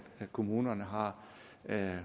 kommunerne har